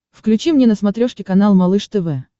включи мне на смотрешке канал малыш тв